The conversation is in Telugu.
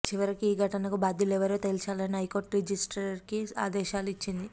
చివరికి ఈ ఘటనకు బాధ్యులెవరో తేల్చాలని హైకోర్టు రిజిస్ట్రీకి ఆదేశాలు ఇచ్చింది